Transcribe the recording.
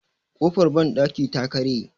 kofar bandaki ta karye